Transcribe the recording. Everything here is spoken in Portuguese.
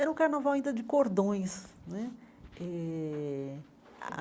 Era um carnaval ainda de cordões né eh.